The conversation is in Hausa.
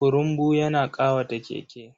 Kurumbu yana ƙawata Keke.